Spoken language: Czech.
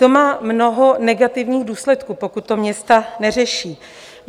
To má mnoho negativních důsledků, pokud to města neřeší.